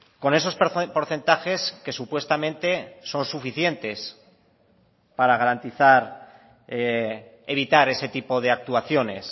con esos porcentajes que supuestamente son suficientes para garantizar evitar ese tipo de actuaciones